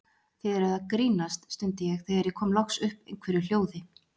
Þið eruð að grínast! stundi ég þegar ég kom loks upp einhverju hljóði.